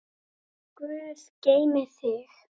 Góður Guð geymi þig.